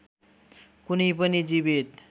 कुनै पनि जीवित